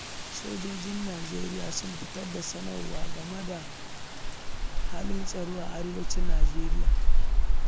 Sojojin Najeriya sun fitar da sanarwa game da halin tsaro a Arewacin Najeriya.